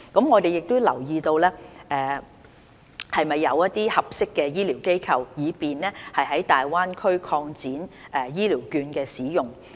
我們有留意是否有合適的醫療機構，以便在大灣區擴展醫療券的使用。